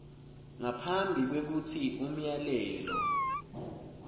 ngaphambi kwekutsi umyalelo